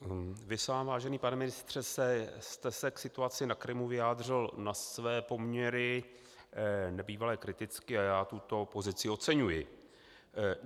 Vy sám, vážený pane ministře, jste se k situaci na Krymu vyjádřil na své poměry nebývale kriticky a já tuto pozici oceňuji.